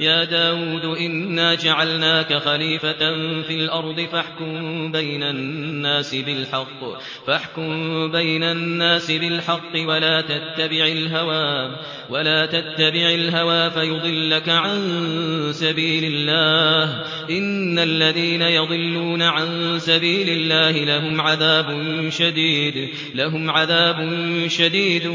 يَا دَاوُودُ إِنَّا جَعَلْنَاكَ خَلِيفَةً فِي الْأَرْضِ فَاحْكُم بَيْنَ النَّاسِ بِالْحَقِّ وَلَا تَتَّبِعِ الْهَوَىٰ فَيُضِلَّكَ عَن سَبِيلِ اللَّهِ ۚ إِنَّ الَّذِينَ يَضِلُّونَ عَن سَبِيلِ اللَّهِ لَهُمْ عَذَابٌ شَدِيدٌ